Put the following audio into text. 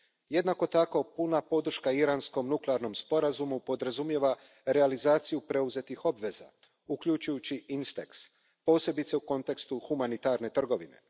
Jednako tako, puna podrška iranskom nuklearnom sporazumu podrazumijeva realizaciju preuzetih obveza, uključujući INSTEX, posebice u kontekstu humanitarne trgovine.